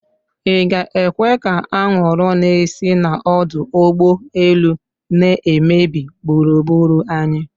Ị ga-ekwe ka awụrụ na-esi na ọdụ ogbo elu n'emebi gburugbụru anyị?